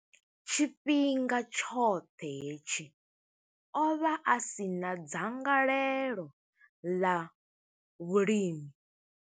Tshifhinga tshoṱhe hetshi, o vha a si na dzangalelo ḽa vhulimi.